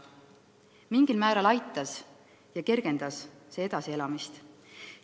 Mingil määral aitas ja kergendas see edasielamist.